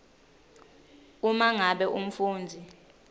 uma ngabe umfundzi